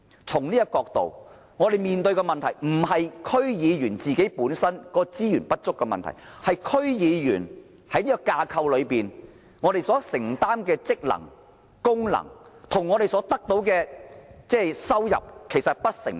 從這個角度來看，我們面對的問題不是區議員本身資源不足，而是區議員在現有架構下所承擔的職能、功能，跟我們所得的收入不成正比。